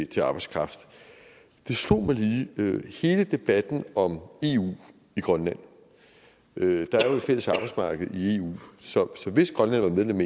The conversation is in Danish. til arbejdskraft og det slog mig lige i hele debatten om eu i grønland at der jo fælles arbejdsmarked i eu så hvis grønland var medlem